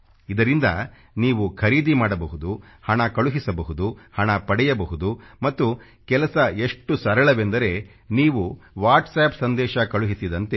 ಇದರಿಂದ ನೀವು ಖರೀದಿ ಮಾಡಬಹುದು ಹಣ ಕಳುಹಿಸಬಹುದು ಹಣ ಪಡೆಯಬಹುದು ಮತ್ತು ಕೆಲಸ ಎಷ್ಟು ಸರಳವೆಂದರೆ ನೀವು ವಾಟ್ಸ್ಆಪ್ ಸಂದೇಶ ಕಳುಹಿಸಿದಂತೆ